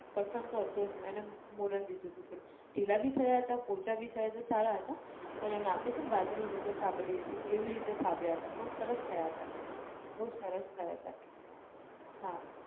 કઠણ તો હતો જ નઈ અને અમ મોરણ લીધું હતું થોડું ઢીલા બી થયા હતા પોચા બી થયા હતા સારા હતા, પણ એમને આપણે કેમ બાજરી નો રોટલો થાબડીએ છે એવી રીતે થાબડ્યા હતા પણ સરસ થયા હતા, બઉ સરસ થયા હતા, હા.